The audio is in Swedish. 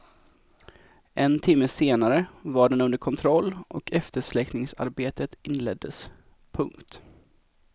En timme senare var den under kontroll och eftersläckningsarbetet inleddes. punkt